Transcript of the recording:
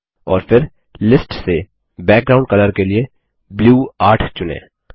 और फिर लिस्ट से बैकग्राउंड कलर के लिए ब्लू 8 चुनें